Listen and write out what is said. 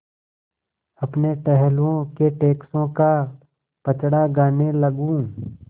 अपने टहलुओं के टैक्सों का पचड़ा गाने लगूँ